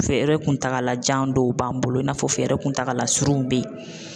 Fɛɛrɛ kuntagalajan dɔw b'an bolo i n'a fɔ fɛɛrɛ kuntagala surun be yen